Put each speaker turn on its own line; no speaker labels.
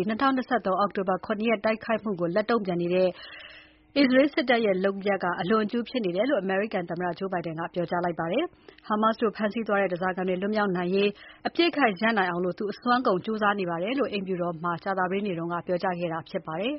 ဲ့ ၂၀၂၃ အောက်တိုဘာ ၇ ရက်တိုက်ခိုက်မှုအပေါ် လက်တုံ့ပြန်တိုက်နေတဲ့ အစ္စရေးစစ်တပ်ရဲ့ လုပ်ရပ်က အလွန်အကျူးဖြစ်နေတယ်လို့အမေရိကန်သမ္မတ Joe Biden ကပြောကြားလိုက်ပါတယ်။ Hamas တို့ဖမ်းဆီးသွားတဲ့ ဓါးစာခံတွေလွတ်မြောက်နိုင်ရေး အပစ်အခတ်ရပ်နိုင်အောင် သူအစွမ်းကုန်ကြိုးစားနေတယ်လို့ အိမ်ဖြူတော်မှာ ကြာသပတေးနေ့က သတင်းထောက်တွေကို ပြောကြားခဲ့တာဖြစ်ပါတယ်။